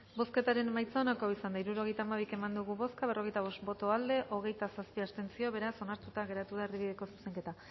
bozketaren emaitza onako izan da hirurogeita hamabi eman dugu bozka berrogeita bost boto aldekoa hogeita zazpi abstentzio beraz onartuta geratu da erdibideko zuzenketa